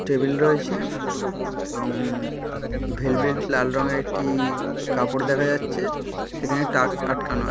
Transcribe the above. Table রয়েছে-এ এবং উ ভেলভেট লাল রঙের একটি-ই কাপড় দেখা যাচ্ছে। সেখানে টাস্ক আটকানো।